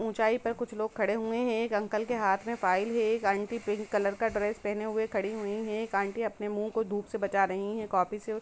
ऊंचाई पे कुछ लोग खड़े हुए है एक अंकल के हाथ में फाइल है एक आंटी पिंक कलर का ड्रेस पहन हुए खड़ी हुई है एक आंटी धुप से अपने मुह को बचा रही है कोपी से।